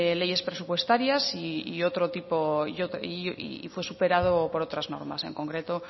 leyes presupuestarias y fue superado por otras normas en concreto